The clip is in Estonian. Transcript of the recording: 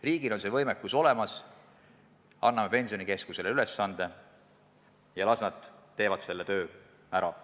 Riigil on see võimekus olemas, anname Pensionikeskusele ülesande ja las nad teevad selle töö ära.